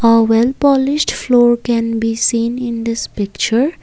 a well polished floor can be seen in this picture.